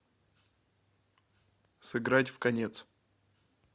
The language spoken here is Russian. сыграть в конец